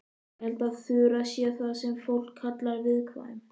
Ég held að Þura sé það sem fólk kallar viðkvæm.